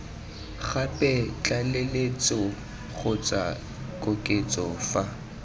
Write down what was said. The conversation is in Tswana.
gape tlaleletso kgotsa koketso fa